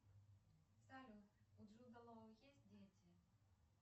салют у джуда лоу есть дети